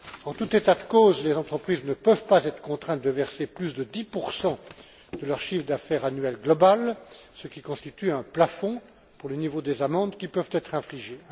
En tout état de cause, les entreprises ne peuvent pas être contraintes de verser plus de 10 de leur chiffre d'affaires annuel global, ce qui constitue un plafond pour le niveau des amendes qui peuvent être infligées.